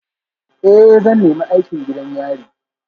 Ee, zan nemi aikin gidan yari